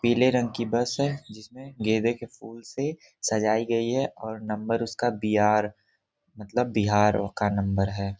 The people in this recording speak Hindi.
पीले रंग की बस है जिसमें गेंदे के फूल से सजाई गई है और नंबर उसका बी आर मतलब इसका ये बिहार का नंबर है।